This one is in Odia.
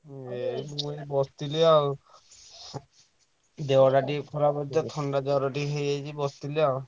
ଏଇ ମୁଁ ବସିଥିଲି ଆଉ ଦେହଟା ଟିକେ ଖରାପ ଅଛି ତ ଥଣ୍ଡା ଜ୍ଵର ଟିକେ ହେଇଯାଇଛି ବସିଥିଲି ଆଉ।